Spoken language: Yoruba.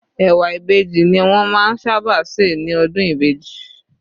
Ẹ̀wà Ìbejì ni wọ́n máa ń sábà se ní ọdún Ìbejì.